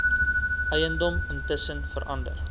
eiendom intussen verander